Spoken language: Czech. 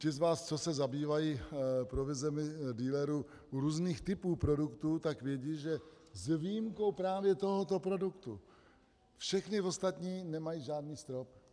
Ti z vás, co se zabývají provizemi dealerů u různých typů produktů, tak vědí, že s výjimkou právě tohoto produktu všechny ostatní nemají žádný strop.